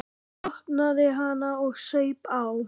Opnaði hana og saup á.